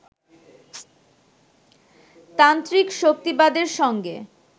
তান্ত্রিক শক্তিবাদের সঙ্গে